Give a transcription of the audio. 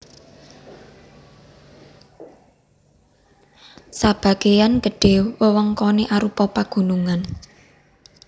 Sabagéyan gedhé wewengkoné arupa pagunungan